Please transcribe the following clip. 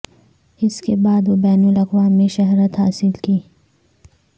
اس کے بعد وہ بین الاقوامی شہرت حاصل کی